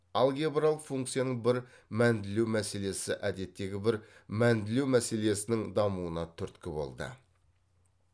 алгебралық функцияның бір мәнділеу мәселесі әдеттегі бір мәнділеу мәселесінің дамуына түрткі болды